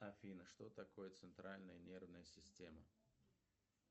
афина что такое центральная нервная система